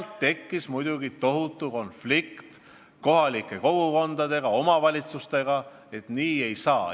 Nii tekkis muidugi tohutu konflikt kohalike kogukondadega, omavalitsustega, kes väitsid, et nii ei saa.